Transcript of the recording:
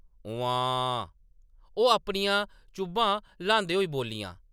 “उम्म्मांऽऽ ”, ओह् अपनियां चुब्भां ल्हांदे होई बोल्लियां ।